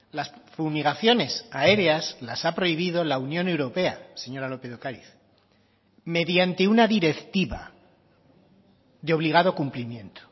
las fumigaciones aéreas las ha prohibido la unión europea señora lópez de ocariz mediante una directiva de obligado cumplimiento